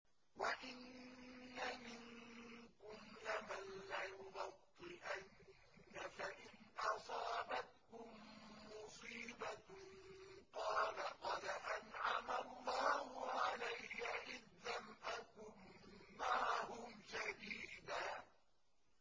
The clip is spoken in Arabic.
وَإِنَّ مِنكُمْ لَمَن لَّيُبَطِّئَنَّ فَإِنْ أَصَابَتْكُم مُّصِيبَةٌ قَالَ قَدْ أَنْعَمَ اللَّهُ عَلَيَّ إِذْ لَمْ أَكُن مَّعَهُمْ شَهِيدًا